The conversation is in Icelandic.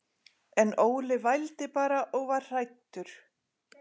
En Óli vældi bara og var hræddur.